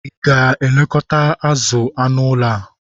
Ị ga-elekọta azụ anụ ụlọ a?